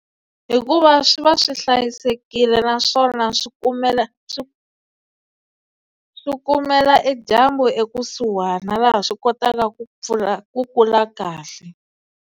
Hikuva swi va swi hlayisekile naswona swi kumela swi swi kumela e dyambu ekusuhana laha swi kotaka ku pfula ku kula kahle.